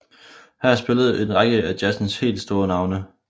Her spillede en række af jazzens helt store navne